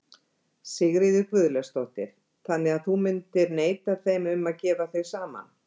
Sigríður Guðlaugsdóttir: Þannig að þú myndir neita þeim um að gefa þau saman?